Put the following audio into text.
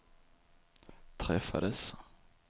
träffades